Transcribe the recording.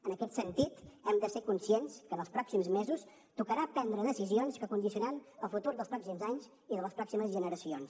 en aquest sentit hem de ser conscients que en els pròxims mesos tocarà prendre decisions que condicionaran el futur dels pròxims anys i de les pròximes generacions